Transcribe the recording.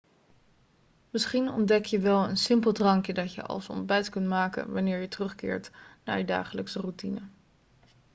misschien ontdek je wel een simpel drankje dat je als ontbijt kunt maken wanneer je terugkeert naar je dagelijkse routine